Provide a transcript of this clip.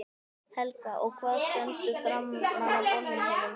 Helga: Og hvað stendur framan á bolnum þínum?